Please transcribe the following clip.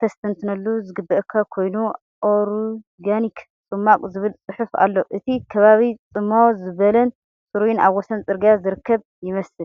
ከስተንትነሉ ዝግበኣካ ኰይኑ“ኦርጋኒክ ጽማቝ” ዚብል ጽሑፍ ኣሎ። እቲ ከባቢ ጽምው ዝበለን ጽሩይን ኣብ ወሰን ጽርግያ ዝርከብ ይመስል።